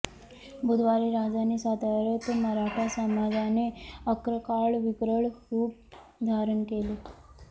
बुधवारी राजधानी सातार्यात मराठा समाजाने अक्राळविक्राळ रूप धारण केले